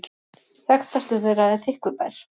Þekktastur þeirra er Þykkvibær.